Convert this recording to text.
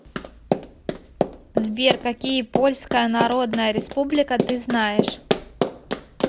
сбер какие польская народная республика ты знаешь